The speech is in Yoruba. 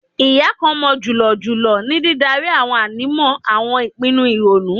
Iya kan mọ julọ julọ ni didari awọn ànímọ awọn ipinnu ironu